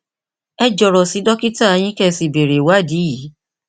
ẹ jọrọ sí dókítà yín kí ẹ sì béèrè ìwádìí yìí